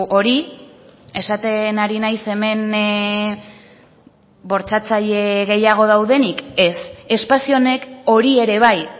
hori esaten ari naiz hemen bortxatzaile gehiago daudenik ez espazio honek hori ere bai